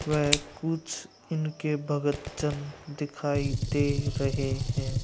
वह कुछ इनके भक्तजन दिखाई दे रहे हैं।